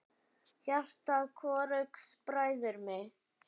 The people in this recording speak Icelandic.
Hjarta hvorugs bræðir hitt.